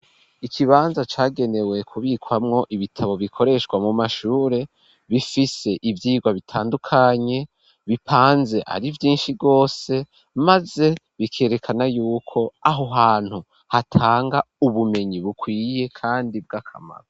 Ikibanza cagenewe kubikwamwo ibitabo bikoreshwa mu mashure bifise ivyigwa bitandukanye bipanze ari vyinshi rwose, maze bikerekana yuko aho hantu hatanga ubumenyi bukwiye kandi bw'akamaro.